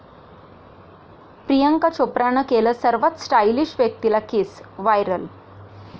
प्रियांका चोप्रानं केलं सर्वात स्टाइलिश व्यक्तीला किस, व्हायरल